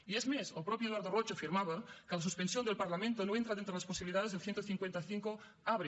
i és més el mateix eduard roig afirmava que la suspensión del parlamento no entra dentro de las posibilidades que el cent i cinquanta cinc abre